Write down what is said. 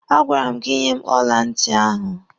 A gwara m gị nye m ọla ntị ahụ!